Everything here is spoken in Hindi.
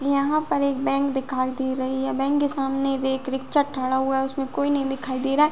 यहाँ पर एक बैंक दिखाई दे रही है बैंक के सामने एक रिक्शा थाड़ा हुआ है उसमे कोई नहीं दिखाई दे रहा है।